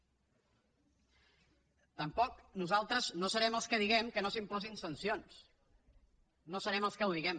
tampoc nosaltres serem els que diguem que no s’imposin sancions no serem els que ho diguem